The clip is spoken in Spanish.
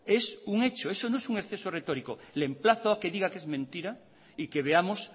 es un hecho eso no es un exceso retórico le emplazo a que diga que es mentira y que veamos